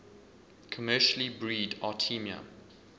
commercially breed artemia